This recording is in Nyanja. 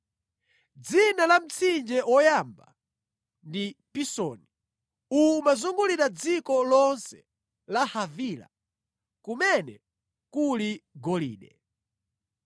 Dzina la mtsinje woyamba ndi Pisoni; uwu umazungulira dziko lonse la Havila, kumene kuli golide.